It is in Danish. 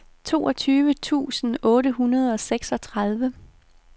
toogtyve tusind otte hundrede og seksogtredive